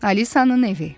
Alisanın evi.